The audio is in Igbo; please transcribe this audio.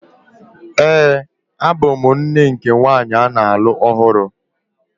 Ee, abụ m nne nke nwanyị a na-alụ ọhụrụ.